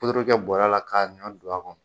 Puturu kɛ bɔra la k'a ɲɔn don a kɔnɔ.